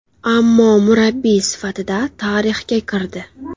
Ammo murabbiy sifatida tarixga kirdi.